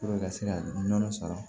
ka se ka nɔnɔ sara